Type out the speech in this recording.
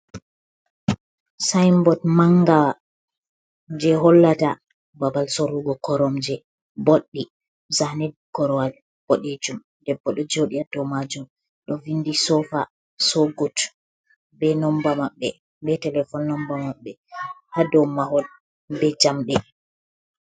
Sayinbot mangawa je hollata babal sorrugo koromje boɗɗi. Zane korowal boɗeejum, debbo ɗo jooɗi haa dow maajum, ɗo vindi so fa, so gut, be nomba maɓɓe, be telefon nomba maɓɓe haa dow mahol, be jamɗe.